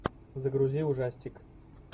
загрузи ужастик